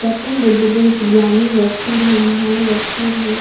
गौतम बुद्ध बहुत ही ज्ञानी व्यक्ति रहे महान व्यक्ति रहे।